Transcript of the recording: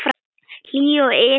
Hlýju og yl og ást.